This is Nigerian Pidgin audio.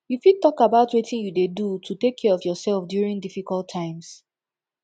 you fit talk about wetin you dey do to take care of yourself during difficult times